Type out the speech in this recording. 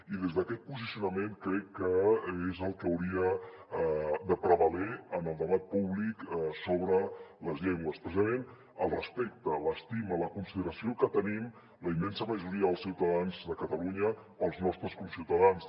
i des d’aquest posicionament crec que és el que hauria de prevaler en el debat públic sobre les llengües precisament el respecte l’estima i la consideració que tenim la immensa majoria dels ciutadans de catalunya pels nostres conciutadans